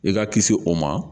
I ka kisi o ma